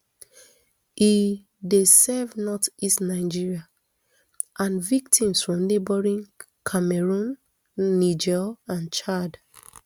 e dey serve northeast nigeria and victims from neighbouring cameroun niger and chad